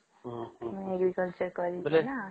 ଓହୋ ମୁଁ agriculture କରିଛି ନାଁ